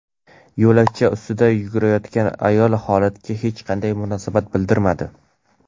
Yo‘lakcha ustida yugurayotgan ayol holatga hech qanday munosabat bildirmadi.